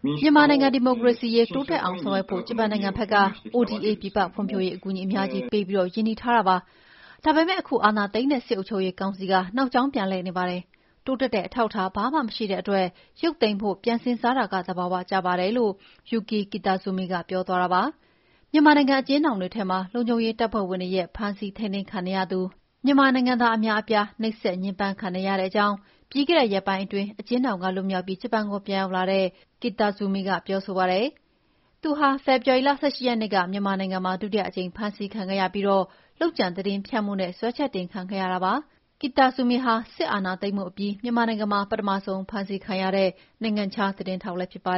“မြန်မာနိုင်ငံ ဒီမိုကရေစီရေး တိုးတက်အောင်ဆောင်ရွက်ဖို့ ဂျပန်နိုင်ငံဘက်က ODA ပြည်ပ ဖွံ့ဖြိုးရေးအကူအညီ အများကြီးပေးပြီး ရင်းနှီးထားတာပါ။ ဒါပေမဲ့ အခု အာဏာသိမ်းတဲ့ စစ်အုပ်ချုပ်ရေးကောင်စီက နောက်ကြောင်း ပြန်လှည့်နေပါတယ်။ တိုးတက်တဲ့ အထောက်အထားဘာမှ မရှိတဲ့အတွက် ရုတ်သိမ်းဖို့ ပြန်စဉ်းစားတာက သဘာဝကျပါတယ်လို့ Yuki Kitazumi က ပြောသွားတာပါ" မြန်မာနိုင်ငံ အကျဉ်းထောင်တွေထဲမှာ လုံခြုံရေးတပ်ဖွဲ့ဝင်တွေရဲ့ ဖမ်းဆီးထိမ်းသိမ်းခံနေရသူ မြန်မာနိုင်ငံသား အများအပြား နှိပ်စက်ညှင်းပမ်းခံနေရတဲ့အကြောင်း ပြီးခဲ့တဲ့ရက်ပိုင်းအတွင်း အကျဉ်းထောင်က လွတ်မြောက်ပြီး ဂျပန်နိုင်ငံကို ပြန်လည်ရောက်ရှိလာတဲ့ ဂျပန် သတင်းထောက် Yuki Kitazumi က ပြောဆိုပါတယ်။ Yuki Kitazumi ဟာ ဖေဖော်ဝါရီလ ၁၈ ရက်နေ့ မြန်မာနိုင်ငံမှာ ဒုတိယ အကြိမ် ဖမ်းဆီးခံခဲ့ရပြီး လုပ်ကြံသတင်းဖြန့်မှုနဲ့ စွဲချက်တင်ခံခဲ့ရပါတယ်။ သူဟာ စစ်အာဏာသိမ်းမှုအပြီး မြန်မာနိုင်ငံမှာ ပထမဆုံး ဖမ်းဆီးခံရတဲ့ နိုင်ငံခြားသား သတင်းထောက်ဖြစ်ပါ